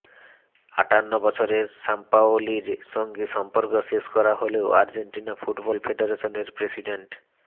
আটান্ন বছরের সাম্পাওলির সঙ্গে সম্পর্ক শেষ করা হলেও আর্জেন্টিনা ফুটবল ফেডারেশনের প্রেসিডেন্ট